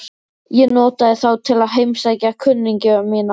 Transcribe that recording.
Ég notaði þá til að heimsækja kunningja mína.